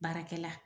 Baarakɛla